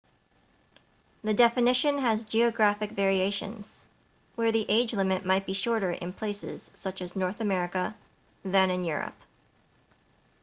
the definition has geographic variations where the age limit might be shorter in places such as north america than in europe